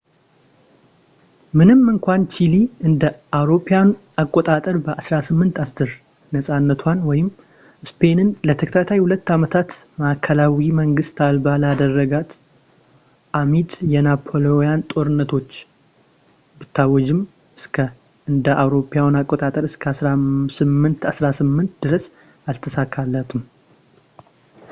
ምንም እንኳን ቺሊ እ.ኤ.አ. በ 1810 ነፃነቷን ስፔንን ለተከታታይ ሁለት ዓመታት ማዕከላዊ መንግስት አልባ ላደረጋት አሚድ የናፖሊናዊያን ጦርነቶች ብታውጅም እስከ እ.ኤ.አ እስከ 1818 ድረስ አልተሳካለትም ፡፡